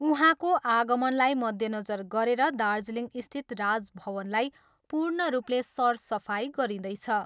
उहाँको आगमनलाई मध्यनजर गरेर दार्जीलिङस्थित राजभवनलाई पूर्ण रूपले सरसफाइ गरिँदैछ।